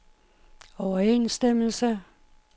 overensstemmelse